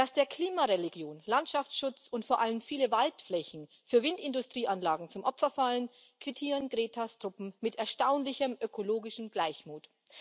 Dass der Klimareligion Landschaftsschutz und vor allem viele Waldflächen für Windindustrieanlagen zum Opfer fallen, quittieren Gretas Truppen mit erstaunlichem ökologischen Gleichmut.